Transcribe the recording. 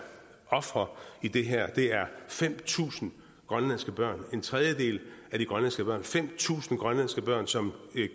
ofre i det her er fem tusind grønlandske børn en tredjedel af de grønlandske børn fem tusind grønlandske børn som